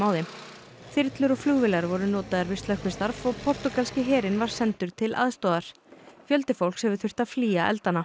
þeim þyrlur og flugvélar voru notaðar við slökkvistarf og portúgalski herinn var sendur til aðstoðar fjöldi fólks hefur þurft að flýja eldana